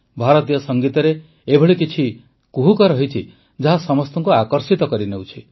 ଭାରତୀୟ ସଙ୍ଗୀତରେ ଏଭଳି କିଛି କୁହୁକ ରହିଛି ଯାହା ସମସ୍ତଙ୍କୁ ଆକର୍ଷିତ କରିନେଉଛି